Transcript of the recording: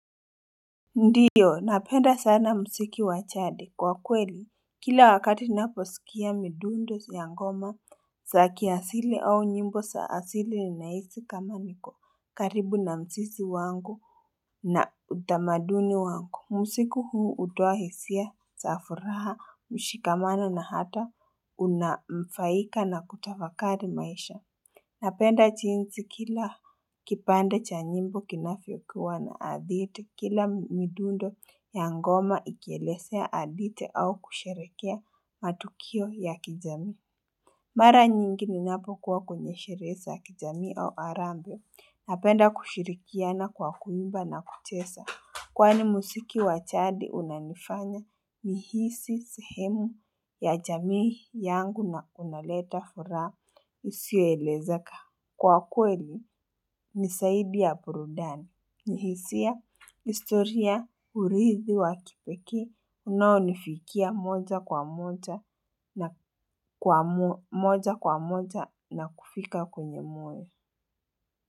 Ndiyo napenda sana mziki wa jadi kwa kweli kila wakati naposikia midundo ya ngoma saki asili au nyimbo sa asili ninahisi kama niko karibu na msisi wangu na utamaduni wangu msiku huu hutoa hisia za furaha mshikamana na hata unanufaika na kutafakari maisha Napenda jinsi kila kipande cha nyimbo kinavyokuwa na adhite, kila midundo ya ngoma ikielesea adhite au kusherekea matukio ya kijami. Mara nyingi ninapo kwenye sherehe ya kijami au harambe. Napenda kushirikiana kwa kuimba na kuchesa. Kwani musiki wachadi unanifanya nihisi sehemu ya jamii yangu na unaleta furaha isio elezeka. Kwa kweli ni saidi ya burudani nihisia istoria urithi wa kipeki unaonifikia moja kwa moja na kwa moja moja nakufika kwenye moyo.